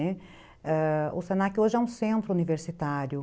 ãh... o se na que hoje é um centro universitário.